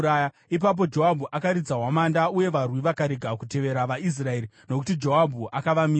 Ipapo Joabhu akaridza hwamanda, uye varwi vakarega kutevera vaIsraeri, nokuti Joabhu akavamisa.